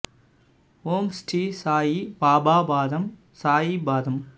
ஓம் ஸ்ரீ சாயி பாபா பாதம் சாயி பாதம்